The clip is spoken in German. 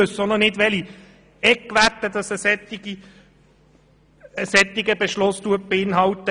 Wir wissen auch nicht, welche Eckwerte ein solcher Beschluss beinhaltet.